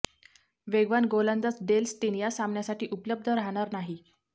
वेगवान गोलंदाज Dale Steyn या सामन्यासाठी उपलब्ध राहणार नाही